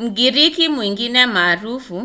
mgiriki mwingine maarufu